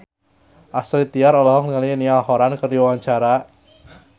Astrid Tiar olohok ningali Niall Horran keur diwawancara